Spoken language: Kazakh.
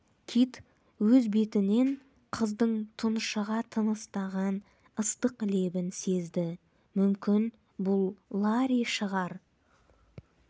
кит өз бетінен қыздың тұншыға тыныстаған ыстық лебін сезді мүмкін бұл ларри шығар